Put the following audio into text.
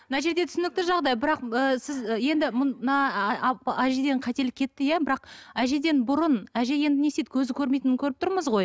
мына жерде түсінікті жағдай бірақ ы сіз енді әжеден қателік кетті иә бірақ әжеден бұрын әже енді не істейді көзі көрмейтінін көріп тұрмыз ғой